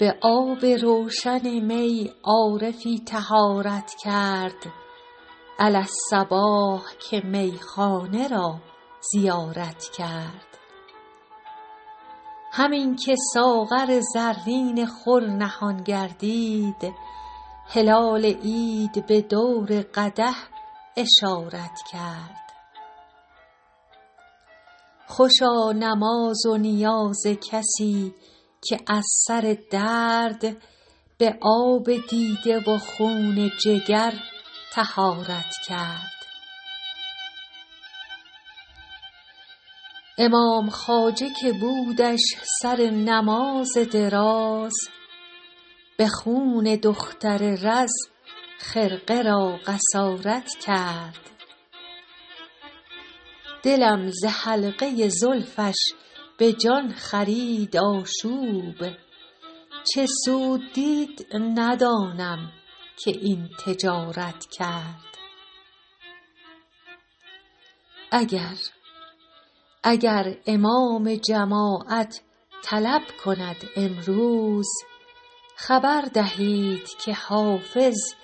به آب روشن می عارفی طهارت کرد علی الصباح که میخانه را زیارت کرد همین که ساغر زرین خور نهان گردید هلال عید به دور قدح اشارت کرد خوشا نماز و نیاز کسی که از سر درد به آب دیده و خون جگر طهارت کرد امام خواجه که بودش سر نماز دراز به خون دختر رز خرقه را قصارت کرد دلم ز حلقه زلفش به جان خرید آشوب چه سود دید ندانم که این تجارت کرد اگر امام جماعت طلب کند امروز خبر دهید که حافظ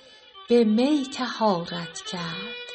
به می طهارت کرد